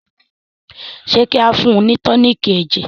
ṣe kí ao fún ni toniiki ẹjẹ?